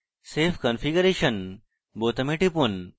save configuration বোতামে টিপুন